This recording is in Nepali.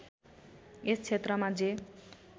यस क्षेत्रमा जे